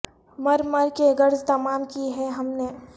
مر مر کے غرض تمام کی ہے ہم نے